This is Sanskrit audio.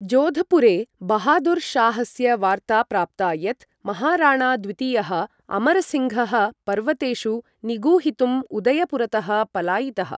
जोधपुरे, बहादुर् शाहस्य वार्ता प्राप्ता यत् महाराणा द्वितीयः अमर सिङ्घः पर्वतेषु निगूहितुम् उदयपुरतः पलायितः।